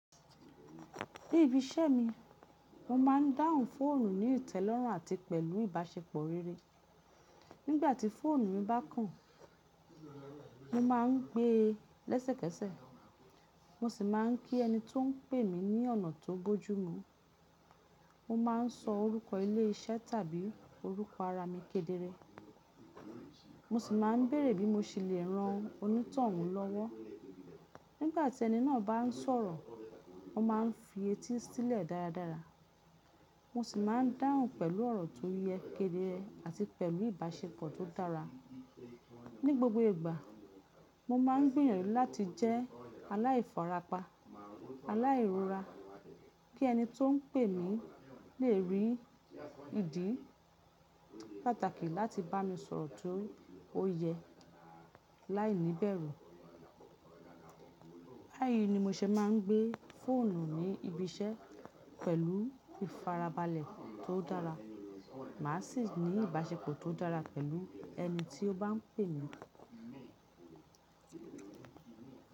Níbi ìṣemi mo máa ń dáhùn fóònù ní ìtẹ́lọ́rùn àti pẹ̀lú ìbáṣepọ̀ rere nígbati fóònù mi bá kàn mo máa ń gbé lẹ́sẹ̀kẹsẹ̀ mo sì máà ń pè ẹní tó pèmí ní ọ̀nà tó bójú mi mo máa ń sọ orúkọ ilé iṣẹ́ tàbí orúkọ ara mi kedere, mo sì máa ń bèrè bí mo ṣe le ran onítọ̀hún lọ́wọ́. Nígbà tí ẹni náà bá ń sọ̀rọ̀, mo máa ń fì etí sílẹ̀ dáradára, mo sì máa ń dáhùn pẹ̀lú ọ̀rọ̀ tó yẹ, kedere, àti pẹ̀lú ìbáṣepọ̀ tó dára. Ni gbogbo ìgbà, mo máa ń gbìyànjú láti jẹ́ aláìfara pa, aláìrora kí ẹni tó ń pè mí lè rí ìdí pàtàkì láti bá mi sọ̀rọ̀ tó yẹ láìníbẹ̀rù. Báyìí ni mo ṣe máa ń gbé fóònù ní ibi iṣẹ́ pẹ̀lú ìfarabalẹ̀ tó dára, màá sì ní ìbáṣepọ̀ tó dára pẹ̀lú ẹni tí ó bá ń pè mí.